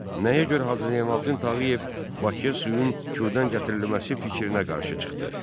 Nəyə görə Hacı Zeynalabdin Tağıyev Bakıya suyun Kürdən gətirilməsi fikrinə qarşı çıxdı?